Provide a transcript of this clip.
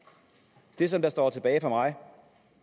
det som står tilbage for mig